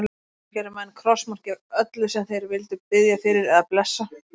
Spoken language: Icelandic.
Áður fyrr gerðu menn krossmark yfir öllu sem þeir vildu biðja fyrir eða blessa.